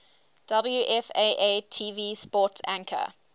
wfaa tv sports anchor